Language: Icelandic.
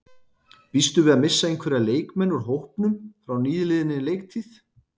Býstu við að missa einhverja leikmenn úr hópnum frá nýliðinni leiktíð?